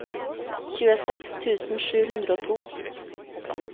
tjueseks tusen sju hundre og to